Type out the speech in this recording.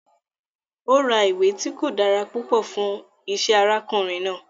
Ó ra ìwé tí kò dára púpọ̀ fún isẹ́ arákùnrin náà